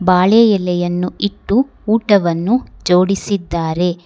ಬಾಳೆ ಎಲೆಯನ್ನು ಇಟ್ಟು ಊಟವನ್ನು ಜೋಡಿಸಿದ್ದಾರೆ.